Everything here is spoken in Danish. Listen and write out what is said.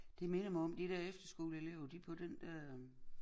Det minder mig om de der efterskoleelever de på den der øh